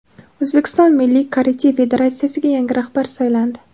O‘zbekiston milliy karate federatsiyasiga yangi rahbar saylandi.